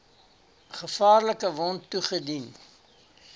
gevaarlike wond toegedien